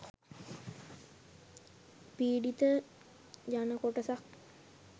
පීඩිත ජනකොටසක්